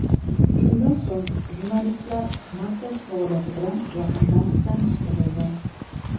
Shundan so‘ng, jurnalistlar markaz faoliyati bilan yaqindan tanishtirildi.